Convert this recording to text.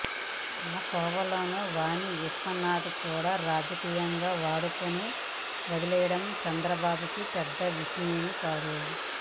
ఆ కోవలోనే వాణి విశ్వనాథ్ని కూడా రాజకీయంగా వాడుకుని వదిలేయడం చంద్రబాబుకి పెద్ద విషయమేమీ కాదు